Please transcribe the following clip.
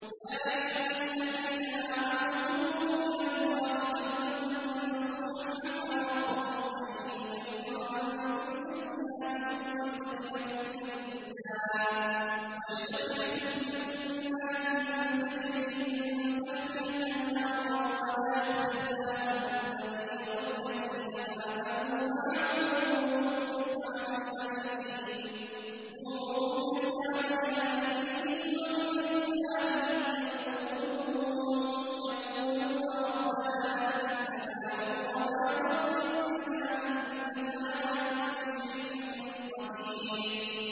يَا أَيُّهَا الَّذِينَ آمَنُوا تُوبُوا إِلَى اللَّهِ تَوْبَةً نَّصُوحًا عَسَىٰ رَبُّكُمْ أَن يُكَفِّرَ عَنكُمْ سَيِّئَاتِكُمْ وَيُدْخِلَكُمْ جَنَّاتٍ تَجْرِي مِن تَحْتِهَا الْأَنْهَارُ يَوْمَ لَا يُخْزِي اللَّهُ النَّبِيَّ وَالَّذِينَ آمَنُوا مَعَهُ ۖ نُورُهُمْ يَسْعَىٰ بَيْنَ أَيْدِيهِمْ وَبِأَيْمَانِهِمْ يَقُولُونَ رَبَّنَا أَتْمِمْ لَنَا نُورَنَا وَاغْفِرْ لَنَا ۖ إِنَّكَ عَلَىٰ كُلِّ شَيْءٍ قَدِيرٌ